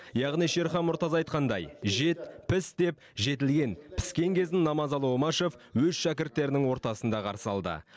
яғни шерхан мұртаз айтқандай жет піс деп жетілген піскен кезін намазалы омашев өз шәкірттерінің ортасында қарсы алды